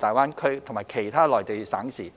大灣區及其他內地省市。